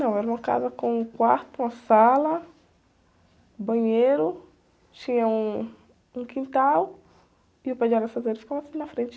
Não, era uma casa com um quarto, uma sala, banheiro, tinha um, um quintal e o pé de araçazeiro ficava assim na frente.